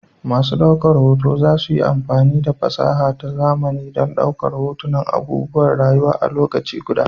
Masu daukar hoto za su yi amfani da fasaha ta zamani don ɗaukar hotunan abubuwan rayuwa a lokaci guda.